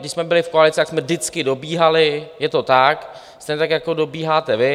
Když jsme byli v koalici, tak jsme vždycky dobíhali, je to tak, stejně tak jako dobíháte vy.